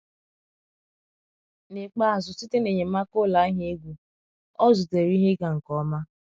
N’ikpeazụ, site na enyemaka ụlọ ahịa egwu, ọ zutere ihe ịga nke ọma.